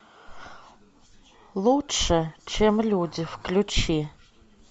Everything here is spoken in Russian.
лучше чем люди включи